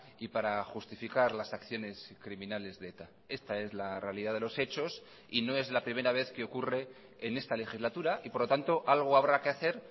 y para justificar las acciones criminales de eta esta es la realidad de los hechos y no es la primera vez que ocurre en esta legislatura y por lo tanto algo habrá que hacer